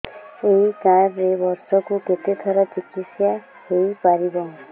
ଏଇ କାର୍ଡ ରେ ବର୍ଷକୁ କେତେ ଥର ଚିକିତ୍ସା ହେଇପାରିବ